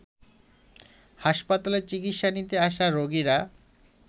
হাসপাতালে চিকিৎসা নিতে আসা রোগীরা